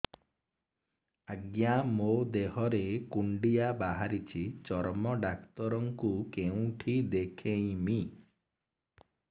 ଆଜ୍ଞା ମୋ ଦେହ ରେ କୁଣ୍ଡିଆ ବାହାରିଛି ଚର୍ମ ଡାକ୍ତର ଙ୍କୁ କେଉଁଠି ଦେଖେଇମି